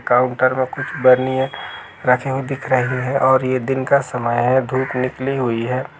Counter मे कुछ बर्निए रखी दिख रही है और ये दिन का समय है धूप निकली हुई है।